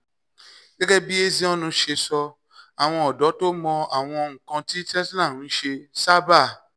gẹ́gẹ́ bí ezeonu ṣe sọ àwọn ọ̀dọ́ tó mọ àwọn nǹkan tí tesla ń ṣe sábà